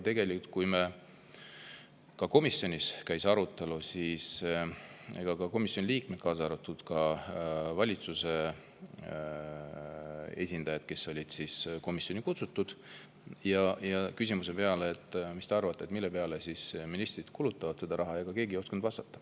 Tegelikult, kui komisjonis käis arutelu, siis keegi, ei komisjoni liikmed ega ka valitsuse esindajad, kes olid komisjoni kutsutud, ei osanud vastata küsimusele, mis te arvate, mille peale ministrid seda raha kulutavad.